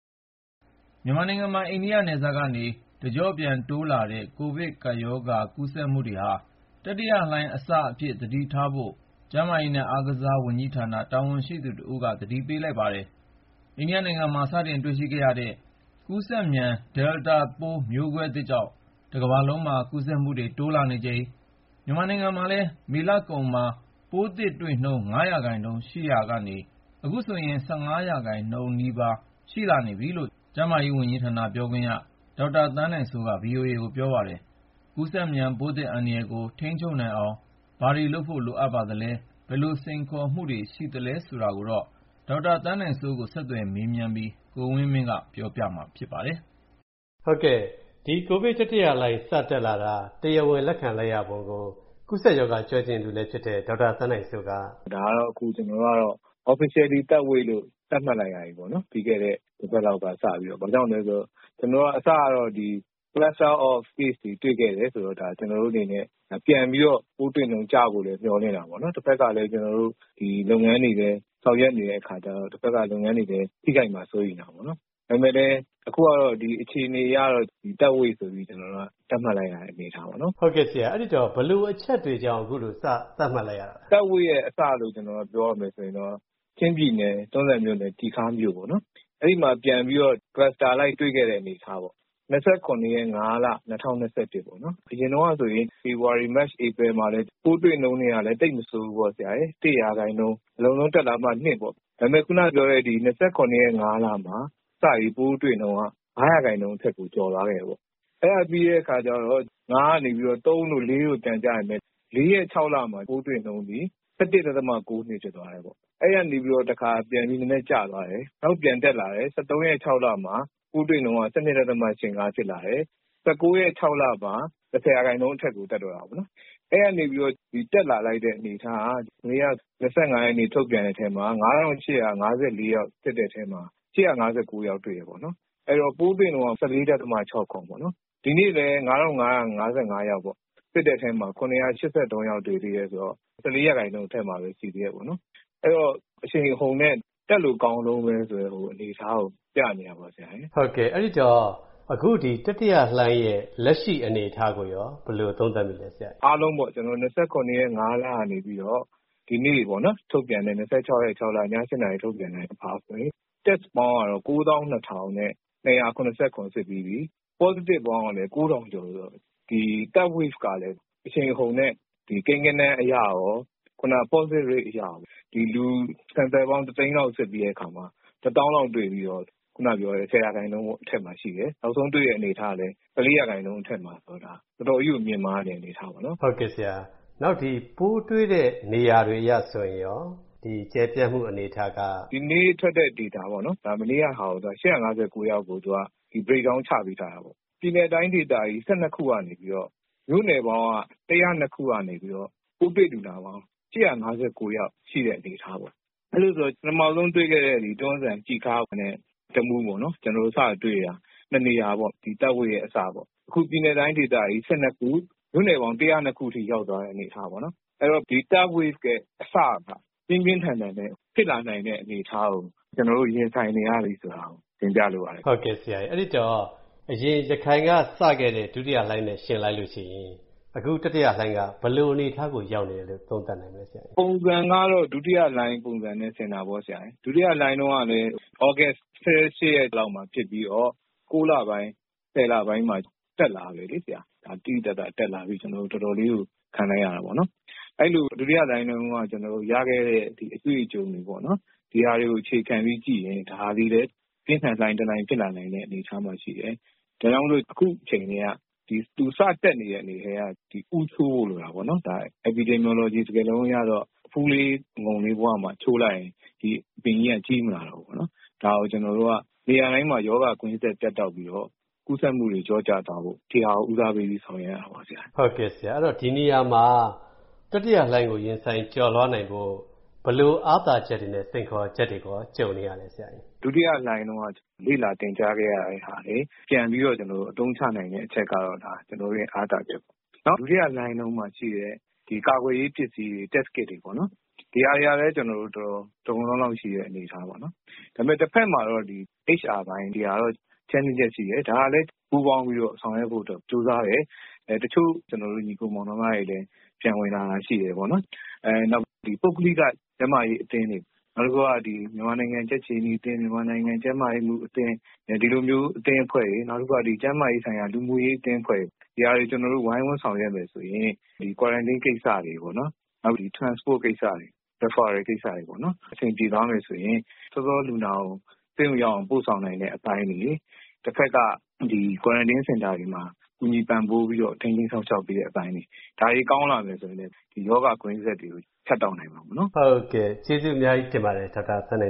မြန်မာနိုင်ငံမှာ အိန္ဒိနယ်စပ်ကနေ တကျော့ပြန် တိုးလာတဲ့ ကိုဗစ်ရောဂါ ကူးစက်မှုတွေဟာ တတိယလှိုင်းအစအဖြစ် သတိထားဖို့ ကျန်းမာရေးနဲ့ အားကစားဝန်ကြီးဌာန တာဝန်ရှိသူတဦးက သတိပေးလိုက်ပါတယ်။ အိန္ဒိယနိုင်ငံမှာ စတင်တွေ့ရှိခဲ့ရတဲ့ ကူးစက်မြန် Delta ပိုးမျိုးကွဲသစ်ကြောင့် တကမ္ဘာလုံးမှာ ကူးစက်မှုတွေ တိုးလာနေချိန်မှာ မြန်မာနိုင်ငံမှာလည်း မေလကုန်မှာ ပိုးသစ်တွေ့နှုန်း ၅ ရာခိုင်နှုန်း ရှိနေရာကနေ အခုဆိုရင် ၁၅ ရာခိုင်နှုန်းနား ကပ်လာနေပြီလို့လည်း ကျန်းမာရေးဝန်ကြီးဌာန ပြောခွင့်ရ ဒေါက်တာသန်းနိုင်စိုးက ဗွီအိုအေကို ပြောပါတယ်။ ကူးစက်မြန် ပိုးသစ်အန္တရာယ်ကို ထိန်းချုပ်နိုင်အောင် ဘာတွေလုပ်ဖို့ လိုနေပါသလဲ၊ ဘယ်လိုစိန်ခေါ်မှုတွေ ရှိနေသလဲ ဆိုတာကိုတော့ ဒေါက်တာသန်းနိုင်စိုးကို မနေ့ညက ဆက်သွယ်မေးမြန်းပြီး ကိုဝင်းမင်းက ပြောပြပေးမှာ ဖြစ်ပါတယ်။ ဒီ ကိုဗစ်တတိယလှိုင်း စတက်လာတာ တရားဝင်လက်ခံလိုက်ရပုံကို ကူးစက်ရောဂါ ကျွမ်းကျင်သူလည်းဖြစ်တဲ့ ဒေါက်တာသန်းနိုင်စိုးက အခုလိုပြောပါတယ်။ “ဒါကတော့ အခု ကျေနာ်တို့က Officially Third Wave လို့ သတ်မှတ်လိုက်ရပြီပေါ့။ ပြီးခဲ့တဲ့ တပတ်လောက်က စပြီးတော့။ ဘာကြောင့်လဲဆိုတော့ အစကတော့ Cluster of Case တွေ တွေ့ခဲ့တယ်ဆိုတော့ ကျနော်တို့အနေနဲ့ ပြန်ပြီးတော့ ပိုးတွေ့နှုန်း ကျဖို့လည်း မျှော်လင့်တာပေါ့။ တဖက်ကလည်း ကျေနာ်တို့ လုပ်ငန်းတွေလည်း ဆောင်ရွက်နေတဲ့အခါကြတော့ တဖက်က လုပ်ငန်းတွေလည်း ထိခိုက်မှာ စိုးရိမ်တာပေါ့။ ဒါပေမယ့်လည်း အခုကတော့ အခြေအနေအရတော့ Third Wave ဆိုပြီး သတ်မှတ်လိုက်ရတဲ့ အနေအထားပေါ့။” ကိုဝင်းမင်း - ဘယ်လိုအချက်တွေကြောင့် အခုလို စသတ်မှတ်လိုက်ရတာလဲ။ ဒေါက်တာသန်းနိုင်စိုး - “Third Wave ရဲ့အစလို့ ပြောရမယ်ဆိုရင်တော့ ချင်းပြည်နယ်၊ တွန်းဇံမြို့နယ်၊ ကျီခါးမြို့ပေါ့၊ အဲဒီမှာ ပြန်ပြီးတော့ Cluster အလိုက် တွေ့ခဲ့တဲ့ အနေအထားပေါ့။ ၂၇-၅-၂၀၂၁ ပေါ့၊ အရင်တုန်းကဆိုရင် ဖေဖော်ဝါရီ၊ မတ်၊ ဧပြီမှာလည်း ပိုးတွေ့နှုန်းတွေကလည်း သိပ်မဆိုးဘူးပေါ့။ ၁ ရာခိုင်နှုန်း၊ အလွန်ဆုံး တက်လာမှ ၂ ရာခိုင်နှုန်း၊ ဒါပေမယ့် ခုနပြောတဲ့ ၂၇ ရက် ၅ လမှာ စပြီး ပိုးတွေ့နှုန်းက ၅ ရာခိုင်နှုန်းအထက်ကို ကျော်သွားခဲ့တယ်။ အဲဒါပြီးတော့ ၅ ကနေ ၃ တို့ ၄ တို့ ပြန်ကျပေမယ့် ၄ ရက် ၆ လမှာ ပိုးတွေ့နှုန်းသည် ၁၁ ဒသမ ၉၂ ဖြစ်သွားတယ်။ အဲဒီကနေ တခါ ပြန်ပြီး နည်းနည်းကျသွားတယ်။ နောက် ပြန်တက်လာတယ်။ ၁၃ ရက် ၆ လမှာ ပိုးတွေ့နှုန်းက ၁၂ ဒသမ ၈၅ ဖြစ်လာတယ်။ ၁၉ ရက် ၆ လမှာ ၁၀ ရာခိုင်နှုန်းအထက်ကို တက်သွားတာပေါ့။ အဲဒီကနေ တက်လာလိုက်တဲ့ အနေအထားက ၂၅ ရက်နေ့ ထုတ်ပြန်တဲ့အထဲမှာ ၅,၈၅၄ ယောက် စစ်တဲ့အထဲမှာ ၈၅၉ ယောက်တွေ့တယ်။ အဲတော့ ပိုးတွေ့နှုန်းက ၁၄ ဒသမ ၆၇ ပေါ့။ ဒီနေ့လည်း ၅,၅၅၅ ယောက်ပေါ့ စစ်တဲ့အထဲမှာ ၇၈၃ ယောက် တွေ့သေးတယ်ဆိုတော့ ၁၄ ရာခိုင်နှုန်း အထက်မှာပဲ ရှိသေးတယ်။ အဲ့တော့ အရှိန်အဟုန်နဲ့ တက်လို့ကောင်းတုန်းဆိုတဲ့ အနေအထားကို ပြနေတာပေါ့။” ကိုဝင်းမင်း - အဲဒီတော့ အခု တတိယလှိုင်းရဲ့ လက်ရှိအနေအထားကိုရော ဘယ်လိုသုံးသပ်မိလဲ ဆရာ။ ဒေါက်တာသန်းနိုင်စိုး - “အားလုံးပေါ့ ၂၇ ရက် ၅ လကနေပြီးတော့ ဒီနေ့ ၂၆ ရက် ၆ လ ည ၈ နာရီ ထုတ်ပြန်ချက်အရဆိုရင် Test ပေါင်းကတော့ ၉၂,၂၇၇ စစ်ပြီးပြီ။ Positive ပေါင်းကလည်း ၉,၀၀၀ ကျော်ဆိုတော့ ဒီ Third Wave ကလည်း အရှိန်အဟုန်နဲ့ ကိန်းဂဏန်းအရရော Positive Rate အရရော လူ တသိန်းလောက် စစ်ပြီးတဲ့အခါမှာ တသောင်းလောက်တွေ့ပြီး ၁၀ ရာခိုင်နှုန်းအထက်မှာရှိတယ်။ နောက်ဆုံးတွေ့တဲ့ အနေအထားကလည်း ၁၄ ရာခိုင်နှုန်း အထက်မှာဆိုတော့ ဒါ တော်တော်ကြီးကို မြင့်မားနေတဲ့ အနေအထားပေါ့။” ကိုဝင်းမင်း - ပိုးတွေ့တဲ့ နေရာတွေအရ ဆိုရင်ရော ကျယ်ပြန့်မှုအနေအထားက။ ဒေါက်တာသန်းနိုင်စိုး - “ဒီနေ့ထွက်တဲ့ Data ပေါ့ မနေ့ကဆို ၈၅၉ ယောက်ကို Breakdown ချပေးထားတာပေါ့။ ပြည်နယ် တိုင်းဒေသကြီး ၁၂ ကနေပြီးတော့ မြို့နယ်ပေါင်း ၁၀၂ ခုကနေပြီးတော့ ပိုးတွေ့လူနာပေါင်း ၈၅၉ ယောက်ရှိတဲ့ အနေအထားပေါ့။ အဲဒီတော့ ပထမဆုံးတွေ့ခဲ့တဲ့ တွန်းဇံ၊ ကျီခါးနဲ့ တမူးပေါ့ စတွေ့တာ နှစ်နေရာပေါ့၊ ဒီ Third Wave ရဲ့ အစပေါ့။ အခု ပြည်နယ် တိုင်းဒေသကြီး ၁၂ ခု၊ မြို့နယ်ပေါင်း ၁၀၂ ခုအထိ ရောက်သွားတဲ့ အနေအထားပေါ့။ အဲဒီတော့ ဒီ Third Wave ရဲ့အစက ပြင်းပြင်းထန်ထန်နဲ့ ဖြစ်လာနိုင်တဲ့ အနေအထားကို ကျနော်တို့ ရင်ဆိုင်နေရပြီ ဆိုတာကို တင်ပြလိုပါတယ်။” ကိုဝင်းမင်း - အဲဒီတော့ အရင် ရခိုင်ကစခဲ့တဲ့ ဒုတိယလှိုင်းနဲ့ ယှဉ်လိုက်ရင် အခု တတိယလှိုင်းက ဘယ်လိုအနေအထားကို ရောက်နေတယ်လို့ သုံးသပ်နိုင်မလဲ။ ဒေါက်တာသန်းနိုင်စိုး - “ပုံစံကတော့ ဒုတိယလှိုင်းပုံစံနဲ့ ဆင်တာပေါ့။ ဒုတိယလှိုင်းတုန်းကလည်း သြဂုတ် ၁၈ ရက်လောက်မှာ ဖြစ်ပြီးတော့ ၉ လပိုင်း၊ ၁၀ လပိုင်းမှာ တက်လာတယ်။ သိသိသာသာတက်လာပြီး ကျနော်တို့ တော်တော်လေးကို ခံလိုက်ရတာပေါ့။ အဲဒီလို ဒုတိယလှိုင်းတုန်းက ရခဲ့တဲ့ အတွေ့အကြုံတွေကို အခြေခံပြီး ကြည့်ရင် ဒါသည်လည်း ပြင်းထန်တဲ့လှိုင်းတလှိုင်း ဖြစ်လာနိုင်တဲ့ အနေအထားမှာရှိတယ်။ ဒါကြောင့်မို့ အခုအချိန် သူ စတက်နေတဲ့ အချိန်ကတည်းက ဦးချိုးဖို့ လိုတာပေါ့။ Epidemiology စကားလုံးအရတော့ အဖူးလေး အငုံလေးဘဝမှာ ချိုးလိုက်ရင် ဒီအပင်ကြီးက ကြီးမလာတော့ဘူးပေါ့။ ဒါကို ကျနော်တို့က နေရာတိုင်းမှာ ရောဂါကွင်းဆက် ပြတ်တောက်ပြီးတော့ ကူးစက်မှုတွေ လျော့ကျသွားဖို့ ဦးစားပေးပြီး ဆောင်ရွက်ရတာပေါ့။” ကိုဝင်းမင်း - ဒီနေရာမှာ တတိယလှိုင်းကို ရင်ဆိုင် ကျော်လွှားနိုင်ဖို့ ဘယ်လို အားသာချက်တွေနဲ့ စိန်ခေါ်ချက်တွေကို ကြုံနေရလဲ။ ဒေါက်တာသန်းနိုင်စိုး - “ဒုတိယလှိုင်းတုန်းက လေ့လာ သင်ကြားခဲ့ရတာတွေ ပြန်ပြီးတော့ အသုံးချနိုင်တဲ့ အချက်ကတော့ ကျနော်တို့ရဲ့ အားသာချက်ပေါ့။ ဒုတိယလှိုင်းတုန်းကရှိတဲ့ ကာကွယ်ရေးပစ္စည်းတွေ Test Kit တွေပေ့ါ ဒီဟာတွေကလည်း တော်တော် လုံလုံလောက်လောက်ရှိတဲ့ အနေအထားပေါ့။ ဒါပေမယ့် တဖက်မှာ HR ပိုင်း ဒီဟာတော့ Challenges ရှိတယ်။ ဒီဟာလည်း ပူးပေါင်းပြီးတော့ ဆောင်ရွက်ဖို့ ကြိုးစားတယ်။ တချို့ ညီအစ်ကို မောင်နှမတွေလည်း ပြန်ဝင်လာတာ ရှိတယ်ပေါ့။ နောက် ပုဂ္ဂလိက ကျန်းမာရေးအသင်းတွေ၊ မြန်မာနိုင်ငံ ကြက်ခြေနီအသင်း၊ မြန်မာနိုင်ငံ ကျန်းမာရေးမှူးအသင်း၊ ဒီလိုမျိုး အသင်းအဖွဲ့တွေ၊ နောက်တခုက ကျန်းမာရေးဆိုင်ရာ လူမှုရေးအသင်းအဖွဲ့တွေ ဒီဟာတွေ ဝိုင်းဝန်းဆောင်ရွက်မယ်ဆိုရင်၊ Quarantine ကိစ္စတွေ၊ Transport ကိစ္စတွေ၊ Referal ကိစ္စတွေ အဆင်ပြေသွားမယ်ဆိုရင် စောစော လူနာကို ဆေးရုံရောက်အောင် ပို့ဆောင်နိုင်တဲ့ အပိုင်းတွေ၊ တဖက်က Quarantine စင်တာတွေမှာ ကူညီပံ့ပိုးပြီး ထိန်းသိမ်းစောင့်ရှောက်ပေးတဲ့ အပိုင်းတွေ ဒါတွေ ကောင်းလာမယ်ဆိုရင်လည်း ရောဂါ ကွင်းဆက်တွေကို ဖြတ်တောက်နိုင်မှာပေါ့။” ကိုဝင်းမင်း - ဟုတ်ကဲ့၊ ကျေးဇူးအများကြီးတင်ပါတယ် ဒေါက်တာသန်းန